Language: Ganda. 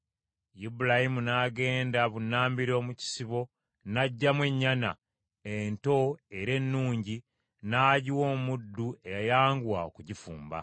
Ibulayimu n’agenda bunnambiro mu kisibo n’aggyamu ennyana, ento era ennungi n’agiwa omu ku bavubuka eyayanguwa okugifumba.